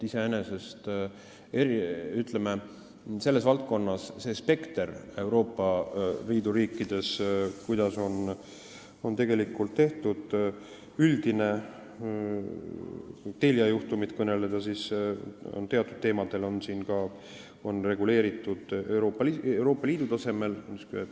Kui vaadata selle valdkonna spektrit Euroopa Liidu riikides, seda, mida on tegelikult tehtud, siis kui Telia juhtumist kõneleda, võib öelda, et teatud asju on siin reguleeritud Euroopa Liidu tasemel.